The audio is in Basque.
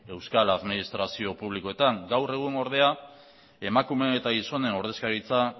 euskal administrazio publikoetan gaur egun ordea emakumeen eta gizonen ordezkaritza